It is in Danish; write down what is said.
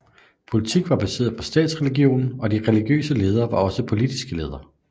Politik var baseret på statsreligionen og de religiøse ledere var også politiske ledere